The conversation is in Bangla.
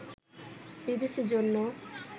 বিবিসি’র জন্য